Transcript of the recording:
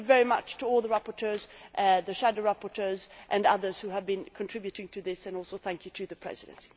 Thank you very much to all the rapporteurs, the shadow rapporteurs and others who have been contributing to this and also, thank you to the Presidency.